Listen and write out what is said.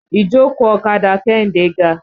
Ìjókòó ọ̀kadà Kẹ́hìndé ga.